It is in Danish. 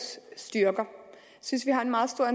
jeg synes vi har en meget stor